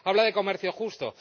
Habla de comercio justo.